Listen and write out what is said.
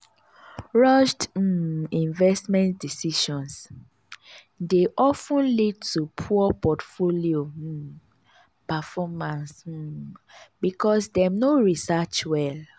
rushed um investment decisions dey of ten lead to poor portfolio um performance um because dem no research well.